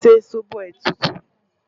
Ṣé sóbò ẹ tútù?